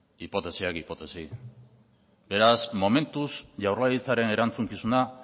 hipotesiak hipotesi beraz momentuz jaurlaritzaren erantzukizuna